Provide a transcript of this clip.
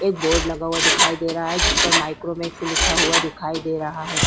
और एक बोर्ड लगा हुआ दिखाई दे रहा है जिस पर माइक्रोवेव लिखा हुआ दिखाई दे रहा है।